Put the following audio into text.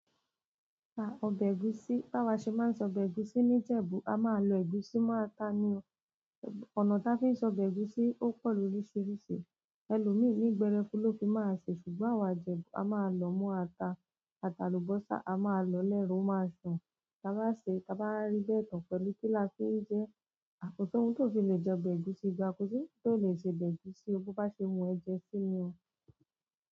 À, ọbẹ̀ ẹ̀gúsí. Bá wa ṣe máa ń ṣe ọbẹ̀ ẹ̀gúsí ní Ìjẹ̀bú, a máa lọ ẹ̀gúsí mọ́ ata ni o. Ọ̀nà ta fi ń ṣe ọbẹ̀ ẹ̀gúsí ó pọ̀ lóríṣiríṣi, ẹlòmíì ní gbẹrẹfu ló fi máa ṣe, ṣùgbọ́n àwa Ìjẹ̀bú a máa lọ̀ọ́ mọ́ ata, ataalùbọ́sà a máa lọ lẹ́ró, ó máa dùn. Taa bá ṣe, ta bá rí bẹ́ẹ̀ tán pẹ̀lú kí la fi jẹ, àpótí ohun tó fi le jẹ ọbẹ̀ ẹ̀gúsí gba, kò sí ohun tó le ṣe ọbẹ̀ ẹ̀gúsí bó bá ṣe wù ẹ̀ jẹ sí ni o.